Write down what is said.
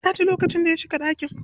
Na ji lokacin da ya shiga ɗakin.